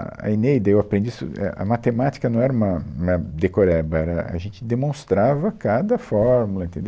a a Eneida, eu aprendi isso, é, a matemática não era uma, uma decoreba, era, a gente demonstrava cada fórmula, entendeu?